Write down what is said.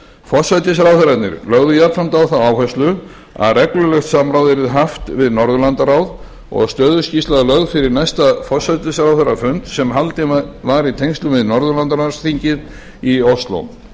forsætisráðherrarnir lögðu jafnframt á það áherslu að reglulegt samráð yrði haft við norðurlandaráð og stöðuskýrsla lögð fyrir næsta forsætisráðherrafund sem haldinn var í tengslum við norðurlandaráðsþing í ósló